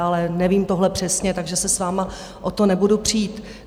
Ale nevím tohle přesně, takže se s vámi o to nebudu přít.